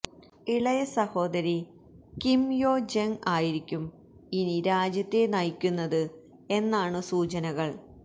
ഇളയ സഹോദരി Kim Yo Jong ആയിരിക്കും ഇനി രാജ്യത്തെ നയിക്കുന്നത് എന്നാണു സൂചനകള്